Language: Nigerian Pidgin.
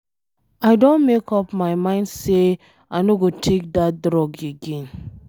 I don make up my mind say I no go take dat drug again.